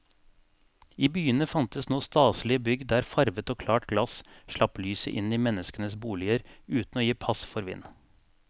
I byene fantes nå staselige bygg der farvet og klart glass slapp lyset inn i menneskenes boliger uten å gi pass for vind.